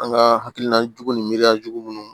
An ka hakilina jugu ni miiriya jugu munnu